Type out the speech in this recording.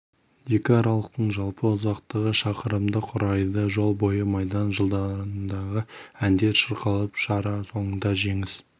екі аралықтың жалпы ұзақтығы шақырымды құрайды жол бойы майдан жылдарындағы әндер шырқалып шара соңында жеңіс